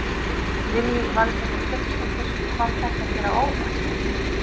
Lillý Valgerður Pétursdóttir: Kom þetta þér á óvart?